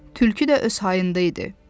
Tülkü də öz hayında idi.